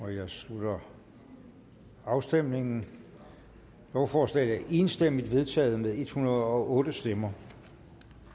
jeg slutter afstemningen lovforslaget er enstemmigt vedtaget med en hundrede og otte stemmer